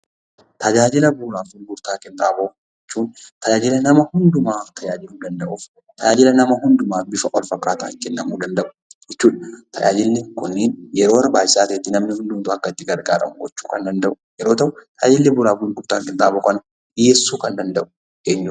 Tajaajila bu'uuraa fi gurgurtaa qinxaamoo jechuun tajaajila nama hundumaa tajaajiluu danda'uuf tajaajila namaa hundumaaf bifa wal fakkaataatiin kennamuu danda'u. Jechuun tajaajilli kunniin yeroo barbaachisaa ta'etti namni hundumtuu akka itti gargaaramu gochuu kan danda'u yeroo ta'u, tajaajila bu'uuraa fi gurgurtaa qinxaamoo kana dhiyeessuu kan danda'u eenyufaadha?